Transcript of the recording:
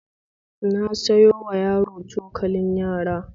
Na sayowa yaro cokalin yara